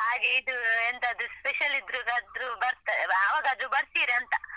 ಹಾಗೆ ಇದು ಎಂತಾದ್ರೂ special ಇದ್ರೆ ಆದ್ರು ಅವಗಾದ್ರು ಬರ್ತೀರಾಂತ ಹಾಗೆ.